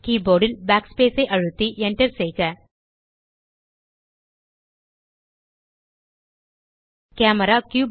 keyboard ல் backspace ஐ அழுத்தி enter செய்க கேமரா